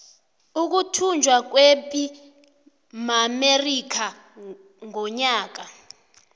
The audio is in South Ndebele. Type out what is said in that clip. ukuthunjwa kwepi maamerika ngonyaka ka